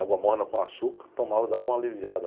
Água morna com açúcar, tomava e dava uma aliviada.